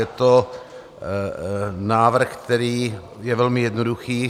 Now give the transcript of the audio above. Je to návrh, který je velmi jednoduchý.